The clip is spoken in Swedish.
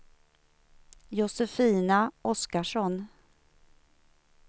Josefina Oskarsson